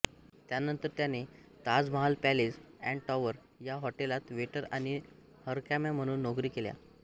त्यानंतर त्याने Taj Mahal palace and tower या हॉटेलात वेटर आणि हरकाम्या म्हणून नोकरी केली